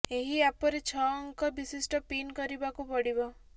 ଏହି ଆପରେ ଛଅ ଅଙ୍କ ବିଶିଷ୍ଟ ପିନ କରିବାକୁ ପଡିବ